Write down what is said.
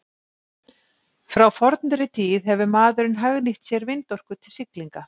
frá fornri tíð hefur maðurinn hagnýtt sér vindorku til siglinga